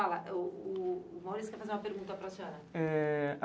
O o o Maurício quer fazer uma pergunta para a senhora. Eh...